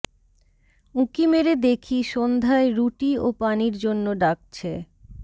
উঁকি মেরে দেখি সন্ধ্যায় রুটি ও পানির জন্য ডাকছে